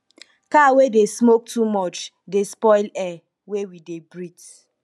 car wey dey smoke too much dey spoil air wey we dey breathe